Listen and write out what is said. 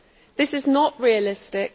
This is not realistic.